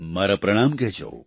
મારા પ્રણામ કહેજો